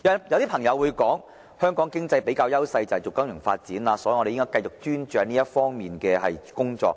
有些朋友會說，香港經濟的比較優勢是金融發展，所以我們應繼續專注這方面的工作。